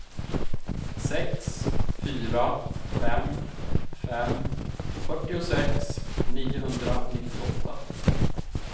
sex fyra fem fem fyrtiosex niohundranittioåtta